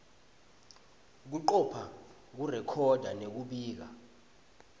kucopha kurekhoda nekubika